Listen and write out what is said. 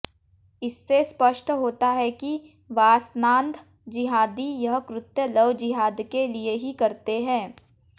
इससे स्पष्ट होता है कि वासनांध जिंहादी यह कृत्य लवजिहादके लिए ही करते हैं